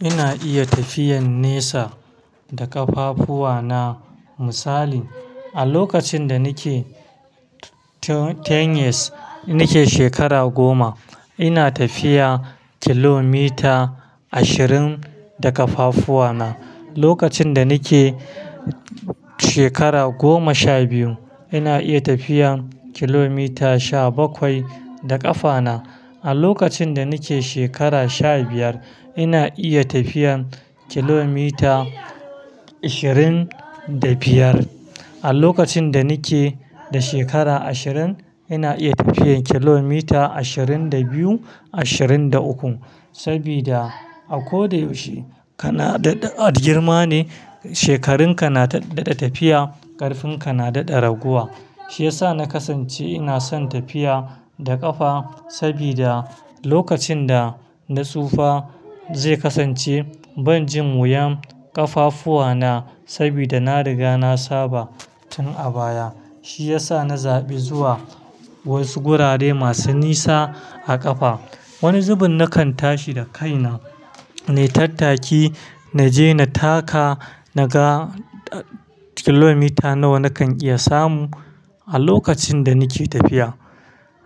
Ina iya tafiyan nesa da ƙafafuwa na. Misali a lokacin da nike teenage nike shekara goma, ina tafiya kilomita ashirin da ƙafafuwa na. Lokacin da nike shekara goma sha biyu ina iya tafiyan kilomita sha bakwai da ƙafa na. A lokacin da nike shekara sha biyar ina iya tafiyan kilomita ashirin da biyar. A lokacin da nike da shekara ashirin ina iya tafiyan kilomita ashirin da biyu, ashirin da uku. Sabida a ko da yaushe kana da girma ne, shekarun ka na daɗa tafiya, ƙarfin ka na daɗa raguwa. Shi yasa na kasance ina son tafiya da ƙafa sabida lokacin da na tsufa zai kasance ban jin wuyan ƙafafuwa na sabida na riga na saba tun a baya. Shi yasa na zaɓi zuwa wasu gurare masu nisa a ƙafa. Wani zubin nakan tashi da kai na ne tattaki naje na taka naga kilomita nawa nakan iya samu a lokacin da nike tafiya.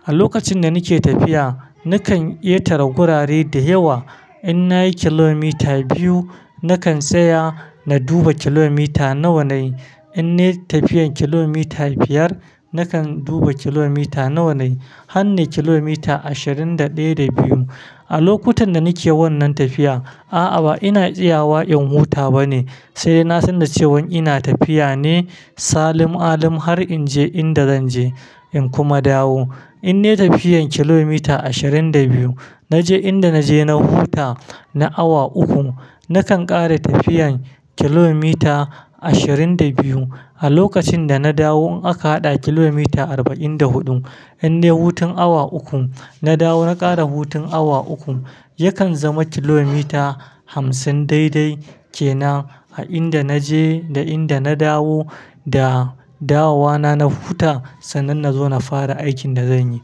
A lokacin da nike tafiya nakan ƙetare gurare da yawa in nayi kilomita biyu nakan tsaya na duba kilomita nawa nayi. In ne tafiyan kilomita biyar nakan duba kilomita nawa nayi. Han ne kilomita ashirin da ɗaya da biyu. A lokutan da nike wannan tafiya, a'a ba ina tsiyawa in huta bane sai na san da ce wan ina tafiya ne salim alim har in je inda zanje in kuma dawo. In ne tafiyan kilomita ashirin da biyu naje inda naje na huta na awa uku nakan ƙare tafiyan kilomita ashirin da biyu. A lokacin da na dawo in aka haɗa kilomita arba'in da huɗu in ne hutun awa uku na dawo na ƙare hutun awa uku yakan zama kilomita hamsin daidai kenan a inda naje da inda na dawo da dawowa na na huta sannan nazo na fara aikin da zanyi.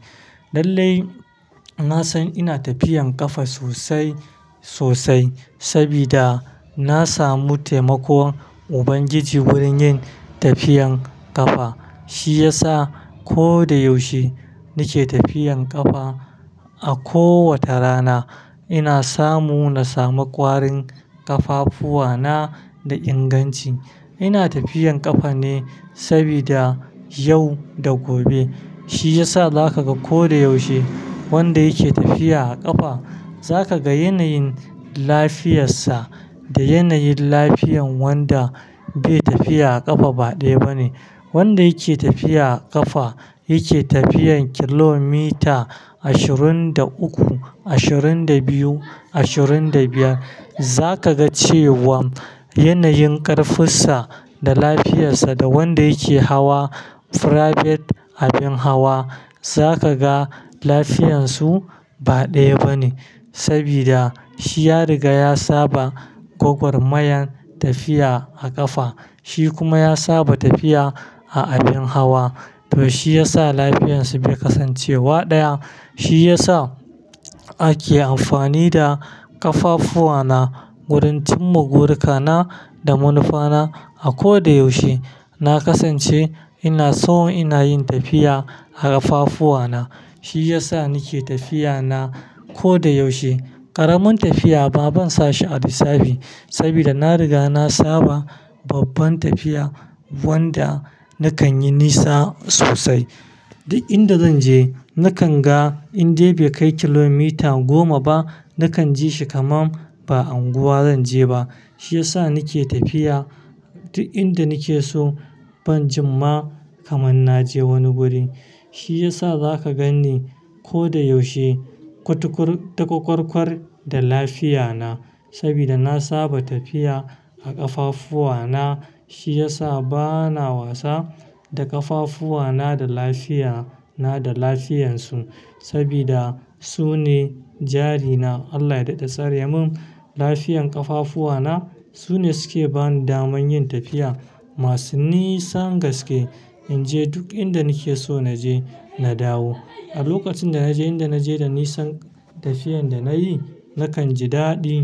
Lallai na san ina tafiyan ƙafa sosai sosai sabida na samu taimakon ubangiji wurin yin tafiyan ƙafa. Shi yasa ko da yaushe nike tafiyan ƙafa a kowace rana ina samu na samu ƙwarin ƙafafuwa na da inganci. Ina tafiyan ƙafa ne sabida yau da gobe. Shi yasa za kaga ko da yaushe wanda yake tafiya a ƙafa za kaga yanayin lafiyar sa da yanayin lafiyan wanda bai tafiya a ƙafa ba ɗaya bane. Wanda yake tafiya a ƙafa yake tafiyan kilomita ashirin da uku, ashirin da biyu, ashirin da biyar za kaga cewan yanayin ƙarfinsa da lafiyar sa da wanda yake hawa private abin hawa za kaga lafiyan su ba ɗaya bane sabida shi ya riga ya saba gwagwarmayan tafiya a ƙafa. Shi kuma ya saba tafiya a abin hawa to shi yasa lafiyan su bai kasance wa ɗaya. Shi yasa ake amfani da ƙafafuwa na wurin cin bururuka na da manufa na a ko da yaushe. Na kasance ina so ina yin tafiya a ƙafafuwa na. Shi yasa nike tafiya na ko da yaushe. Ƙaramin tafiya ba ban sashi a lissafi sabida na riga na saba babban tafiya wanda nakan yi nisa sosai. Duk inda zan je nakan ga in dai bai kai kilomita goma ba nakan ji shi kaman ba anguwa zan je ba. Shi yasa nike tafiya duk inda nike so ban jin ma kaman naje wani guri. Shi yasa za ka gani ko da yaushe kwatakkwar-kwatakkwar da lafiya na sabida na saba tafiya a ƙafafuwa na. Shi yasa bana wasa da ƙafafuwa na da lafiya na da lafiyan su sabida su ne jari na. Allah ya daɗe sare mun lafiyan ƙafafuwa na. Su ne suke bani daman yin tafiya masu nisan gaske in je duk inda nike so naje na dawo. A lokacin da naje inda naje da nisan tafiyan da nayi nakan ji daɗi.